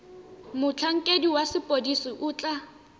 motlhankedi wa sepodisi o tla